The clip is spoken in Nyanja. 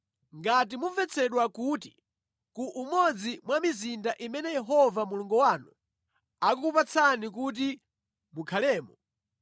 Ngati mumvetsedwa kuti ku umodzi mwa mizinda imene Yehova Mulungu wanu akukupatsani kuti mukhalemo,